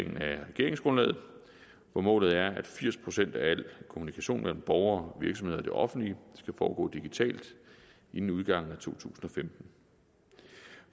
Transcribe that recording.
regeringsgrundlaget hvor målet er at firs procent af al kommunikation mellem borgere virksomheder og det offentlige skal foregå digitalt inden udgangen af to tusind og femten